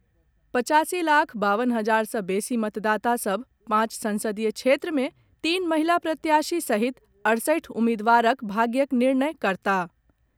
पचासी लाख बावन हजार सॅ बेसी मतदाता सभ पांच संसदीय क्षेत्र मे तीन महिला प्रत्याशी सहित अड़सठि उम्मीदवारक भाग्यक निर्णय करताह।